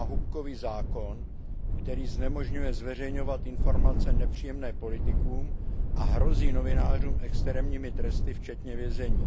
náhubkový zákon, který znemožňuje zveřejňovat informace nepříjemné politikům a hrozí novinářům extrémními tresty včetně vězení.